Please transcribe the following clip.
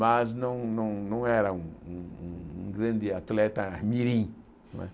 Mas não não não era um um um grande atleta mirim, não é?